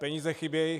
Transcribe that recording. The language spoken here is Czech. Peníze chybějí.